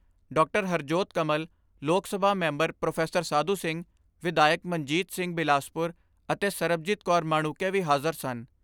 ਸਾਧੂ ਸਿੰਘ, ਵਿਧਾਇਕ ਮਨਜੀਤ ਸਿੰਘ ਬਿਲਾਸਪੁਰ ਅਤੇ ਸਰਬਜੀਤ ਕੌਰ ਮਾਣੂਕੇ ਵੀ ਹਾਜ਼ਰ ਸਨ।